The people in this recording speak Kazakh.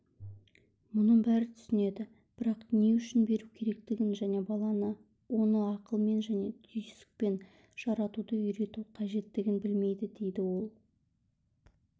мұны бәрі түсінеді бірақ не үшін беру керектігін және баланы оны ақылмен және түйсікпен жаратуды үйрету қажеттігін білмейді дейді ол